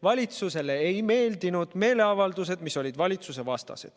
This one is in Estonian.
Valitsusele ei meeldinud meeleavaldused, mis olid suunatud valitsuse vastu.